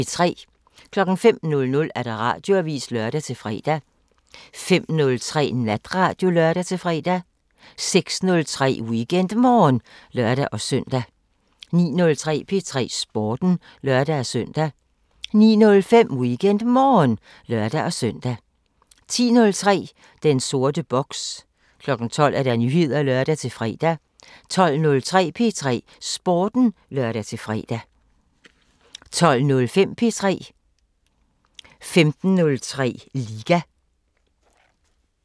05:00: Radioavisen (lør-fre) 05:03: Natradio (lør-fre) 06:03: WeekendMorgen (lør-søn) 09:03: P3 Sporten (lør-søn) 09:05: WeekendMorgen (lør-søn) 10:03: Den sorte boks 12:00: Nyheder (lør-fre) 12:03: P3 Sporten (lør-fre) 12:05: P3 15:03: Liga